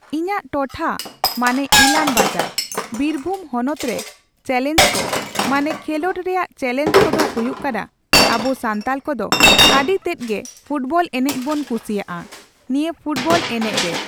ᱤᱧᱟᱹᱜ ᱴᱚᱴᱷᱟ ᱢᱟᱱᱮ ᱤᱞᱟᱢ ᱵᱟᱡᱟᱨ, ᱵᱤᱨᱵᱷᱩᱢ ᱦᱚᱱᱚᱛ ᱨᱮ ᱪᱮᱞᱮᱧᱡ ᱠᱚ, ᱢᱟᱱᱮ ᱠᱷᱮᱸᱞᱳᱰ ᱨᱮᱭᱟᱜ ᱪᱮᱞᱮᱧᱡ ᱠᱚᱫᱚ ᱦᱩᱭᱩᱜ ᱠᱟᱱᱟ, ᱟᱵᱩ ᱥᱟᱱᱛᱟᱞ ᱠᱚᱫᱚ ᱟᱰᱤ ᱛᱮᱫ ᱜᱮ ᱯᱷᱩᱴᱵᱚᱞ ᱮᱱᱮᱡ ᱵᱩᱱ ᱠᱩᱥᱤᱭᱟᱼᱟ᱾ ᱱᱤᱭᱟᱹ ᱯᱷᱩᱴᱵᱚᱞ ᱮᱱᱮᱡ ᱨᱮ